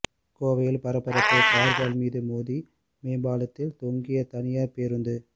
கோவையில் பரபரப்பு கார்கள் மீது மோதி மேம்பாலத்தில் தொங்கிய தனியார் பேருந்து